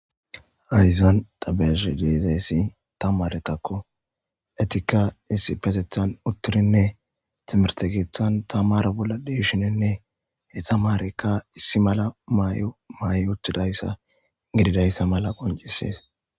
Haysan tabesh deezayssi tamaretakko etika issi patethan uttirinne timertegithan tamara bolla deshinenne hetamaarekka issi mala maay7o maay7o uttidayssa gididayssa mala qoncisees.